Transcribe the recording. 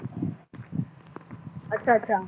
ਅੱਛਾ ਅੱਛਾ